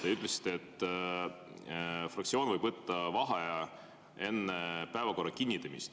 Te ütlesite, et fraktsioon võib võtta vaheaja enne päevakorra kinnitamist.